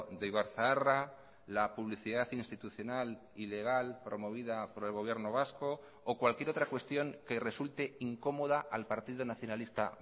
de ibarzaharra la publicidad institucional ilegal promovida por el gobierno vasco o cualquier otra cuestión que resulte incómoda al partido nacionalista